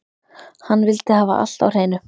Hann vildi hafa allt á hreinu.